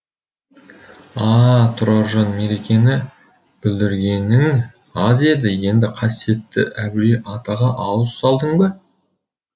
а а тұраржан меркені бүлдіргенің аз еді енді қасиетті әулие атаға ауыз салдың ба